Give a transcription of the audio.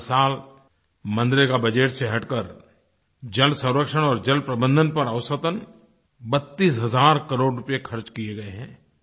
हर साल मनरेगा बजेट से हटकर जलसंरक्षण और जलप्रबंधन पर औसतन 32 हज़ार करोड़ रूपए खर्च किये गए हैं